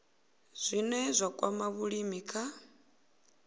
zwine zwa kwama vhulimi kha